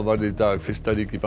varð í dag fyrsta ríki